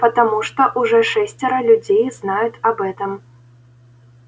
потому что уже шестеро людей знают об этом